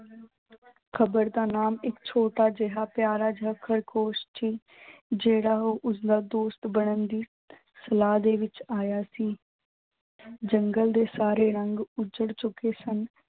ਖ਼ਬਰ ਦਾ ਨਾਮ ਇੱਕ ਛੋਟਾ ਜਿਹਾ ਪਿਆਰਾ ਜਿਹਾ ਖ਼ਰਗੋਸ਼ ਸੀ ਜਿਹੜਾ ਉਸਦਾ ਦੋਸਤ ਬਣਨ ਦੀ ਸਲਾਹ ਦੇ ਵਿੱਚ ਆਇਆ ਸੀ ਜੰਗਲ ਦੇ ਸਾਰੇ ਰੰਗ ਉੱਜੜ ਚੁੱਕੇ ਸਨ।